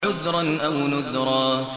عُذْرًا أَوْ نُذْرًا